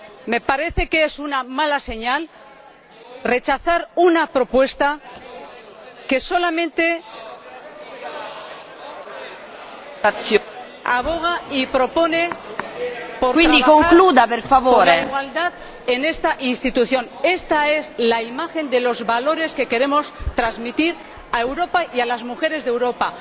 Me parece que es una mala señal rechazar una propuesta que solamente aboga y propone trabajar por la igualdad en esta institución. Esta es la imagen de los valores que queremos transmitir a Europa y a las mujeres de Europa.